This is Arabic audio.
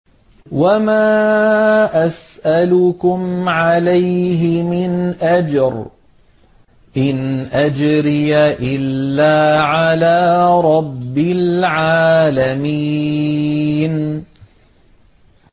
وَمَا أَسْأَلُكُمْ عَلَيْهِ مِنْ أَجْرٍ ۖ إِنْ أَجْرِيَ إِلَّا عَلَىٰ رَبِّ الْعَالَمِينَ